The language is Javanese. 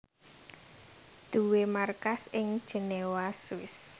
duwé markas ing Jenewa Swiss